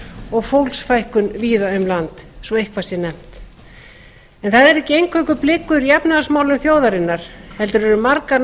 og fólksfækkun víða um land svo eitthvað sé nefnt það eru ekki eingöngu blikur í efnahagsmálum þjóðarinnar heldur eru margar